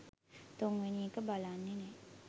තුන්වෙනි එක බලන්නෙ නෑ